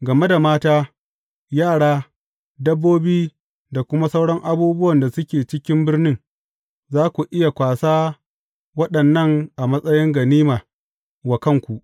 Game da mata, yara, dabbobi da kuma sauran abubuwan da suke cikin birnin, za ku iya kwasa waɗannan a matsayin ganima wa kanku.